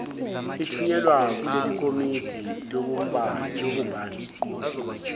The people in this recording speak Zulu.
ithunyelwa kulelikomiti lobumbano